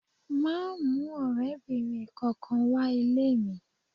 Máa mú ọ̀rẹ́bìnrin kankan wá ilé mi.